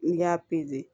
N'i y'a